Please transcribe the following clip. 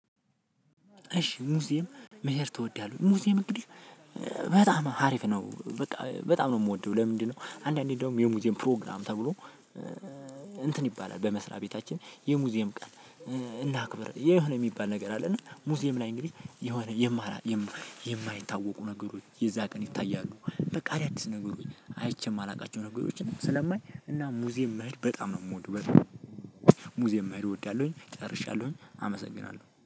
እሺ ሙዚየም መሄድ ትወዳለህ? ሙዚየም እንግዲህ በጣም አሪፍ ነው በቃ በጣም ነው የምወደው። ለምንድነው? አንዳንዴ እንደውም የሙዚየም ፕሮግራም ተብሎ እንትን ይባላል። በመስሪያ ቤታችን የሙዚየም ቀን እናክብር የሆነ የሚባል ነገር አለ። እና ሙዚየም ላይ እንግዲህ የሆነ የማይታወቁ ነገሮች የዛ ቀን ይታያሉ። በቃ አዳዲስ ነገሮች አይቼ ማላውቃቸው ነገሮችን ስለማይ እና ሙዚየም መሄድ በጣም ነው የምወደው። በጣም ሙዚየም መሄድ እወዳለሁኝ። ጨርሻለሁኝ አመሰግናለሁ